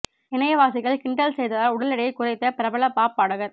இணையவாசிகள் கிண்டல் செய்ததால் உடல் எடை குறைத்த பிரபல பாப் பாடகர்